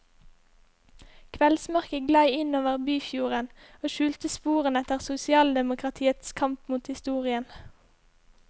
Kveldsmørket glei inn over byfjorden og skjulte sporene etter sosialdemokratiets kamp mot historien.